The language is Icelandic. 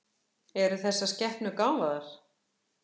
Eru þessar skepnur gáfaðar?